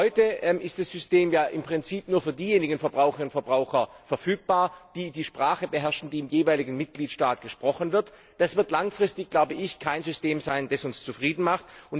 Heute ist das System ja im Prinzip nur für diejenigen Verbraucherinnen und Verbraucher verfügbar, die die Sprache beherrschen, die im jeweiligen Mitgliedstaat gesprochen wird. Das wird langfristig kein System sein, das uns zufriedenstellt.